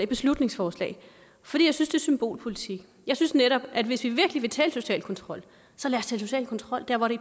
beslutningsforslag fordi jeg synes det er symbolpolitik jeg synes netop at hvis vi virkelig vil tale social kontrol så lad os social kontrol der hvor det